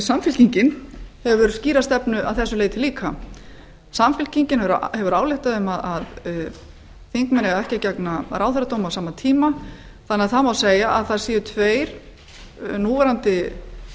samfylkingin hefur skýra stefnu að þessu leyti líka samfylkingin hefur ályktað um að þingmenn eigi ekki að gegna ráðherradómi á sama tíma þannig að það má segja að það séu núverandi